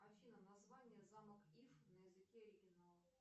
афина название замок иф на языке оригинала